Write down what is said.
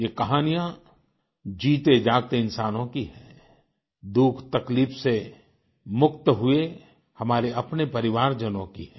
ये कहानियाँ जीतेजागते इंसानों की हैं दुखतकलीफ से मुक्त हुए हमारे अपने परिवारजनों की है